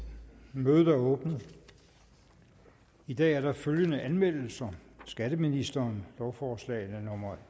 mødet er åbnet i dag er der følgende anmeldelser skatteministeren lovforslag nummer